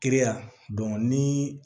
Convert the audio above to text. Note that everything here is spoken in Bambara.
Kiri ya ni